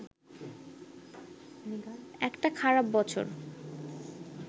একটা খারাপ বছর